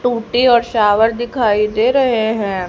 टूटी और शॉवर दिखाई दे रहे हैं।